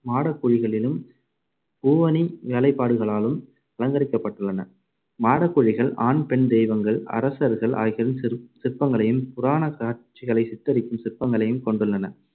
மாட குழிகளிலும் பூவணி வேலைப்பாடுகளாலும் அலங்கரிக்கப்பட்டுள்ளன. மாடக்குழிகள் ஆண், பெண் தெய்வங்கள், அரசர்கள் ஆகியோரின் சிற்~ சிற்பங்களையும் புராணக் காட்சிகளை சித்தரிக்கும் சிற்பங்களையும் கொண்டுள்ளன.